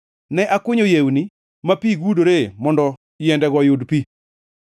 Ne akunyo yewni ma pi gudore mondo yiendego oyud pi.